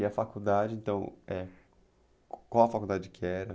E a faculdade, então, eh, qual a faculdade que era?